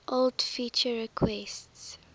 old feature requests